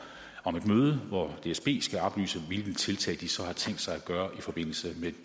om et møde hvor dsb skal oplyse hvilke tiltag de så har tænkt sig at gøre i forbindelse med